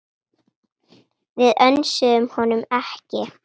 Við önsuðum honum ekki.